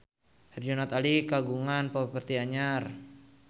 Herjunot Ali kagungan properti anyar